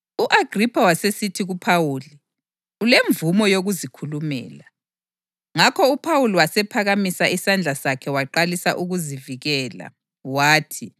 U-Agripha wasesithi kuPhawuli, “Ulemvumo yokuzikhulumela.” Ngakho uPhawuli wasephakamisa isandla sakhe waqalisa ukuzivikela, wathi,